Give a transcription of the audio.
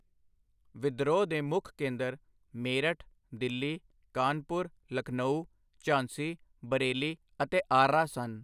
ਵਿਦਰੋਹ ਦੇ ਮੁੱਖ ਕੇਂਦਰ ਮੇਰਠ ਦਿੱਲੀ ਕਾਨਪੁਰ ਲਖਨਊ ਝਾਂਸੀ ਬਰੇਲੀ ਅਤੇ ਆਰ੍ਹਾ ਸਨ।